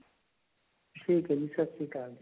ਠੀਕ ਹੈ ਜੀ ਸਤਿ ਸ਼੍ਰੀ ਅਕਾਲ ਜੀ